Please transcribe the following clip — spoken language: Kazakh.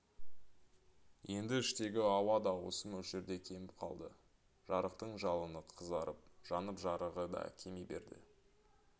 енді іштегі ауа да осы мөлшерде кеміп қалды жарықтың жалыны қызарып жанып жарығы да кеми берді